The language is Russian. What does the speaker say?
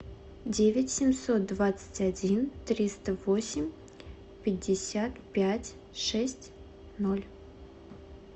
девять семьсот двадцать один триста восемь пятьдесят пять шесть ноль